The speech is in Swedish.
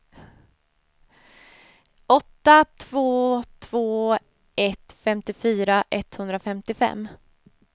åtta två två ett femtiofyra etthundrafemtiofem